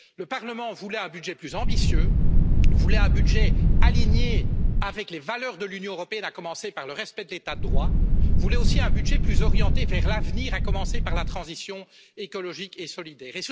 Le Parlement voulait un budget plus ambitieux, voulait un budget aligné sur les valeurs de l'Union européenne, à commencer par le respect de l'État de droit, voulait aussi un budget plus orienté vers l'avenir, à commencer par la transition écologique et solidaire.